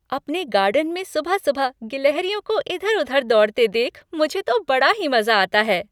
अपने गार्डन में सुबह सुबह गिलहरियों को इधर उधर दौड़ते देख मुझे तो बड़ा ही मज़ा आता है।